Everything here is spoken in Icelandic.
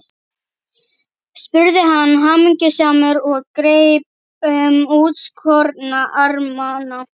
spurði hann hamingjusamur og greip um útskorna armana.